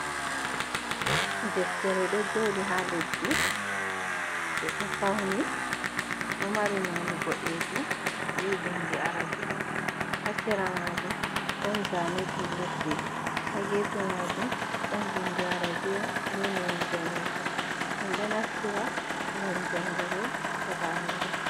Deftere ɗo jouɗi haa leddi ɓe ɗo fauni ɗo mari none boɗejum be bindi Arabiya, haa sera majum ɗon zane julurde, haa gefe majum ɗon bindi Arabiya be none danejum min ɗo naftira ngam jangugo weɓa andal.